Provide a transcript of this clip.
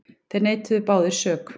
Þeir neituðu báðir sök.